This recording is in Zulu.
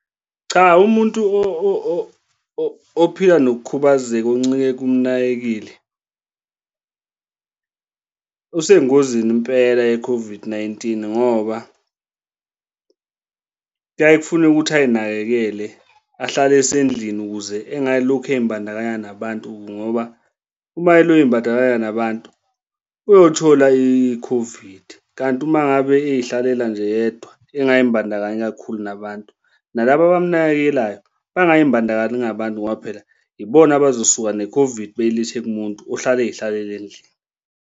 Cha, umuntu ophila nokukhubazeka, oncike kumnakekeli, usengozini impela ye-COVID-19 ngoba kuyaye kufune ukuthi ay'nakekele ahlale esendlini ukuze engalokhu ey'mbandakanya nabantu, ngoba uma eloku embandakanya nabantu, uyothola i-COVID. Kanti uma ngabe ey'hlalela nje yedwa engay'mbandakanyi kakhulu, nabantu, nalaba ababanakekelayo, bangay'mbandakanyi nabantu ngoba phela ibona abazosuka ne-COVID beyilethe kumuntu ohlala ey'hlalele endlini.